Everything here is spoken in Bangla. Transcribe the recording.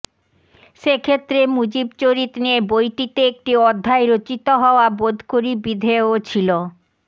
সেক্ষেত্রে মুজিবচরিত নিয়ে বইটিতে একটি অধ্যায় রচিত হওয়া বোধকরি বিধেয় ছিল